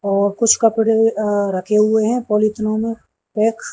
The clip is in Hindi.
और कुछ कपड़े अ रखे हुए है पॉलिथिनो मे पैक्स --